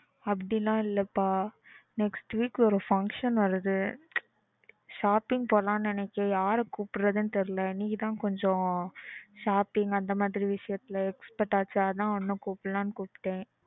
அப்படிலாம் இல்லப்பா next week ஒரு function வருது. Shopping போகலாம்னு நினைச்சேன் யாரை கூபிட்ரதுன்னு தெரியல நீதான் கொஞ்சம் shopping அந்த மாதிரி விஷயத்துல expert ஆச்சே அதான் உன்ன கூப்பிடலாம்னு கூப்ட்டேன்.